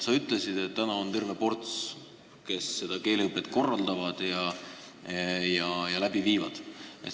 Sa ütlesid, et praegu on terve ports neid, kes keeleõpet korraldavad ja läbi viivad.